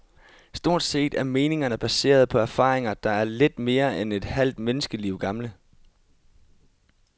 Stort set er meningerne baseret på erfaringer, der er lidt mere end et halvt menneskeliv gamle.